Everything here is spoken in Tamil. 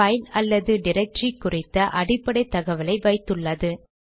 பைல் அல்லது டிரக்டரி குறித்த அடிப்படை தகவலை வைத்துள்ளது